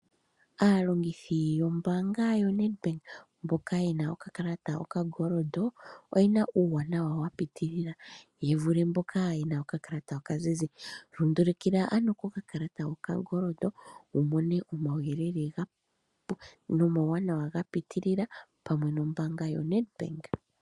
Aalongithi yombaanga yaNedbank mbela yena oka kalata koshingoli oyena uuwanawa wa piitilila ye vule mboka ye na oka kalata okazizi. Lundulukila ano koka kalata hoka koshingoli wu mone omauyelele ogendji omauwanawa ga piitilila pamwe nombaanga yoNedbank.